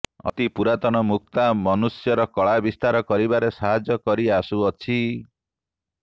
ଅତି ପୁରାତନ ମୁକ୍ତା ମନୁଷ୍ୟର କଳା ବିସ୍ତାର କରିବାରେ ସାହାଯ୍ୟ କରି ଆସୁଅଛି